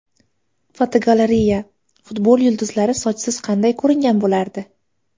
Fotogalereya: Futbol yulduzlari sochsiz qanday ko‘ringan bo‘lardi?